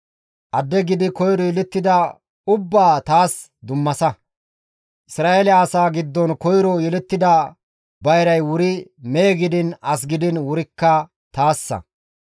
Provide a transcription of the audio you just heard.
«Adde gidi koyro yelettida ubbaa taas dummasa. Isra7eele asaa giddon koyro yelettida bayray wuri mehe gidiin as gidiin wurikka taassa.»